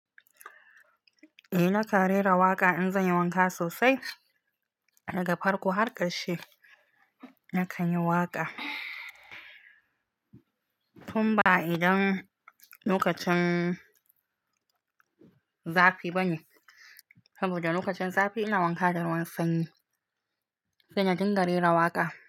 Eh nakan rera waƙa in zan yi wanka sosai, daga farko har ƙarshe na kan yi waƙa. Tun ba idan lokacin zafi bane, saboda lokacin zafi ina wanka da ruwan sanyi. Sai na dinga rera waƙa.